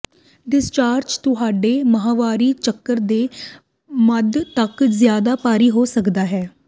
ਡਿਸਰਚਾਰਜ ਤੁਹਾਡੇ ਮਾਹਵਾਰੀ ਚੱਕਰ ਦੇ ਮੱਧ ਤੱਕ ਜ਼ਿਆਦਾ ਭਾਰੀ ਹੋ ਸਕਦਾ ਹੈ